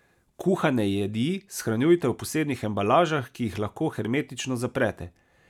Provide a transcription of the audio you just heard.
Kuhane jedi shranjujte v posebnih embalažah, ki jih lahko hermetično zaprete.